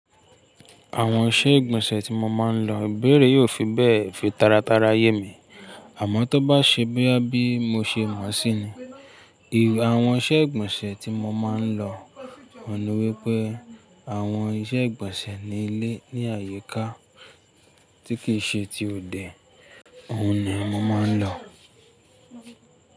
Àwọn iṣẹ́ ìgbọ̀nsẹ̀ tí mo máa ń lọ, ìbéèrè yìí kò fi bẹ́ẹ̀ fi taratara yé mi, àmọ́ tó bá ṣe bóyá bí mo ṣe mọ̀ síi ni, àwọn iṣẹ́ ìgbọ̀nsẹ̀ tí mo máa ń lọ, òun ni wípé àwọn iṣẹ́ ìgbọ̀nsẹ̀ ní ilé ní àyíká tí kì í ṣe ti òde, òun ni mo máa ń lọ.